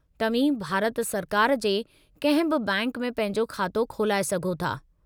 तव्हीं भारत सरकार जे कंहिं बि बैंक में पंहिंजो खातो खुलाए सघो था।